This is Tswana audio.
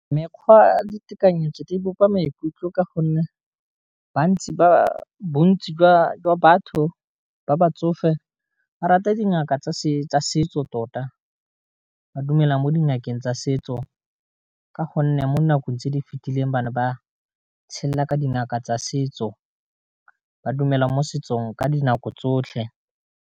Mekgwa ditekanyo tse di bopa maikutlo ka gonne bontsi jwa batho ba ba tsofe, ba rate dingaka tsa setso tota, ba dumela mo dingakeng tsa setso. Ka gonne mo nakong tse di fitileng bana ba tshela ka dingaka tsa setso ba dumela mo setsong ka dinako tsotlhe.